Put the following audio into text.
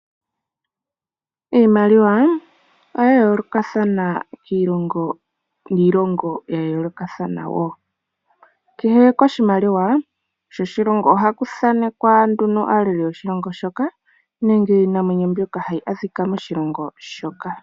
Iimaliwa oya yoolokathana kiilongo niilongo ya yoolokathana wo. Kehe koshimaliwa shoshilongo ohaku thanekwa nduno aaleli yoshilongo shoka nenge iinamwenyo mbyoka hayi adhika moshilongo shoka.